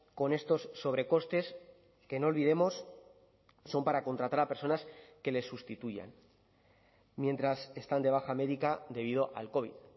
con estos sobrecostes que no olvidemos son para contratar a personas que les sustituyan mientras están de baja médica debido al covid